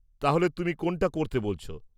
তাহলে তুমি কোনটা করতে বলছ?